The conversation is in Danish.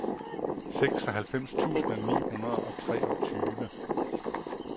seksoghalvfems tusind ni hundrede og treogtyve